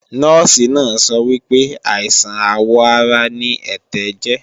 Nọ́ọ̀sì náà sọ wípé, àìsàn àwọ̀ ara ni ẹ̀tẹ̀ jẹ́